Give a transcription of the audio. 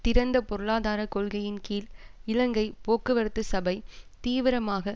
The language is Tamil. திறந்த பொருளாதார கொள்கையின் கீழ் இலங்கை போக்குவரத்து சபை தீவிரமாக